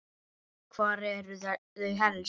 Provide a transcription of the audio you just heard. Hvar eru þau helst?